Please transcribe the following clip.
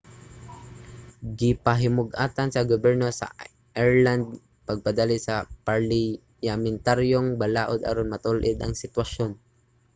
gipahimug-atan sa gobyerno sa ireland ang pagpadali sa parliyamentaryong balaod aron matul-id ang sitwasyon